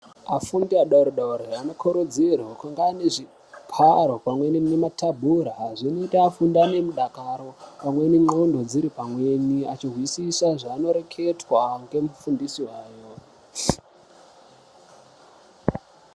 Afundi adoridori anokurudzirwe kunge anezvigaro pamweni nematebhura zvinoita kuti afunde anemudakaro pamwe nendxondo dziri pamweni, achizwisise zvaanoreketwa ngemufundisi wavo.